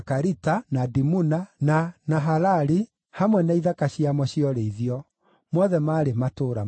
na Dimuna, na Nahalali, hamwe na ithaka ciamo cia ũrĩithio; mothe maarĩ matũũra mana;